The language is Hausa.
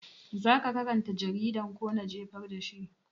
Zaka karanta jaridan ko na jefar da shi?